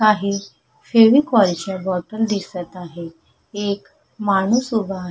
काही फेविकॉल च्या बॉटल दिसत आहे एक माणूस उभा आ--